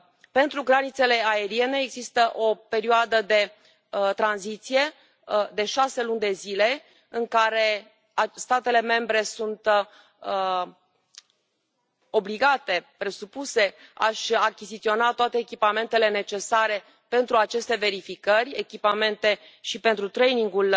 Pentru granițele aeriene există o perioadă de tranziție de șase luni de zile, în care statele membre sunt obligate să și achiziționeze toate echipamentele necesare pentru aceste verificări, echipamente și pentru trainingul